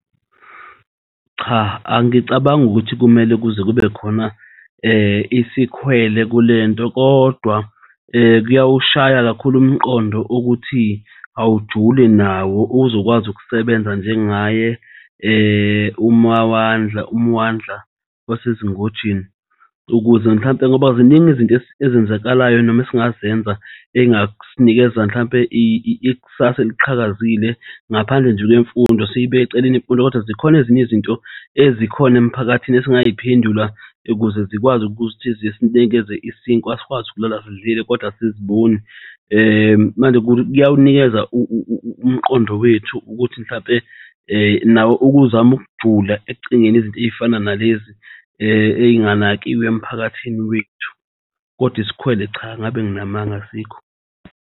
Cha, angicabangi ukuthi kumele kuze kube khona isikhwele kulento kodwa kuyawushaya kakhulu umqondo ukuthi awujule nawo uzokwazi ukusebenza njengaye umawandla wasezingojeni ukuze mhlampe ngoba ziningi izinto ezenzakalayo noma esingazenza engasinikeza mhlampe ikusasa eliqhakazile. Ngaphandle nje kwemfundo siy'bekeceleni imfundo kodwa zikhona ezinye izinto ezikhona emiphakathini esingayiphendula ukuze zikwazi ukuthi zis'nikeze isinkwa sikwazi ukulala sidlile kodwa asiziboni manje kuyaw'nikeza umqondo wethu ukuthi mhlampe nawo ukuzame ukujula ekucingeni izinto ezifana nalezi ey'nganakiwe emphakathini wethu kodwa isikhwele cha ngabe nginamanga asikho.